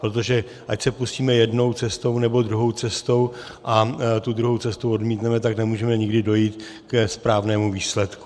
Protože ať se pustíme jednou cestou, nebo druhou cestou a tu druhou cestu odmítneme, tak nemůžeme nikdy dojít ke správnému výsledku.